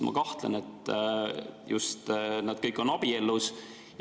Ma kahtlen, kas kõigi puhul on tegemist abikaasadega.